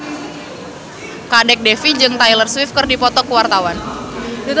Kadek Devi jeung Taylor Swift keur dipoto ku wartawan